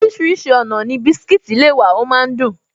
Orísìírísìí ọ̀nà ni biscuits le wà, ọ máa ń dùn